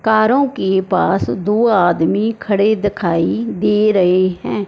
कारों के पास दो आदमी खड़े दिखाई दे रहे हैं।